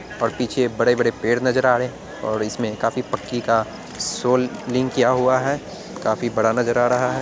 और पीछे बड़े बड़े पेड़ नजर आ रहे है और इसमे काफी पक्की का सोल लिंक किया हुआ है | काफी बड़ा नजर आ रहा है।